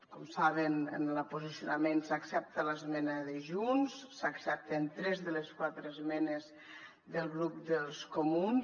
com saben en el posicionament s’accepta l’esmena de junts s’accepten tres de les quatre esmenes del grup dels comuns